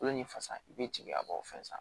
Kolo ni fasa i bɛ jigin a b'o fɛn san